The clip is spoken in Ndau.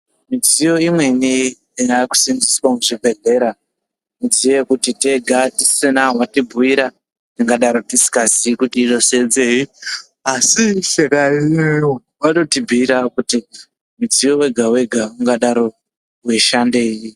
Midziyo imweni inosenzeswa muzvibhehlera midziyo yekuti tega tisina watibhuira tingadaro tisingazii kuti inosenzei asi vanoshandemwo vanotibhura kuti mudziyo wega wega ungadaro weishandei.